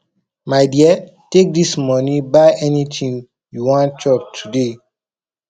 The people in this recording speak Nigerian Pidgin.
my dear take dis money buy anything you wan chop today